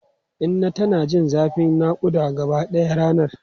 Inna tana jin zafin nakuda gabaɗaya ranar.